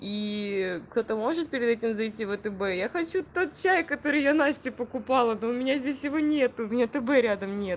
и кто-то может перед этим зайти в атб я хочу тот чай который я насте покупала но у меня здесь его нет у меня тб рядом не